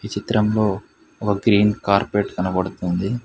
ఈ చిత్రంలో ఒక గ్రీన్ కార్పెట్ కనపడుతుంది.